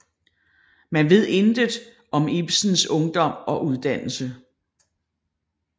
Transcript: Man ved intet om Iebsens ungdom og uddannelse